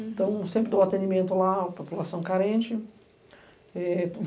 Então, sempre dou atendimento lá à população carente. Eh